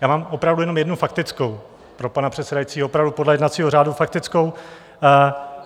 Já mám opravdu jenom jednu faktickou, pro pana předsedajícího, opravdu podle jednacího řádu faktickou.